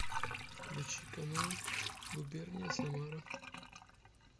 включи канал губерния самара